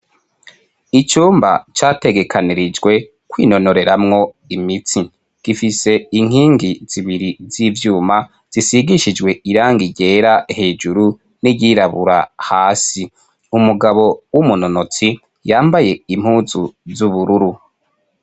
Icumba categekanirijwe kwinonoreramwo imitsi. Gigifise inkingi zibiri z'ivyuma zisigishijwe irangi ryera hejuru n'iryirabura hasi. Umugabo w'umunonotsi yambaye impuzu z'ubururu.